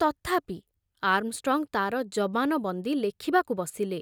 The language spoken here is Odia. ତଥାପି ଆର୍ମଷ୍ଟ୍ରଙ୍ଗ ତାର ଜବାନବନ୍ଦୀ ଲେଖିବାକୁ ବସିଲେ।